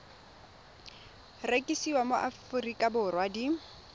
rekisiwa mo aforika borwa di